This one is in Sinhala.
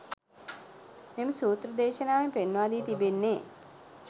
මෙම සූත්‍ර දේශනාවෙන් පෙන්වා දී තිබෙන්නේ